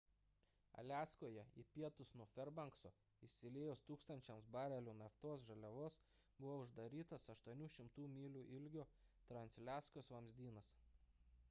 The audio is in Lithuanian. aliaskoje į pietus nuo ferbankso išsiliejus tūkstančiams barelių naftos žaliavos buvo uždarytas 800 mylių ilgio transaliaskos vamzdynas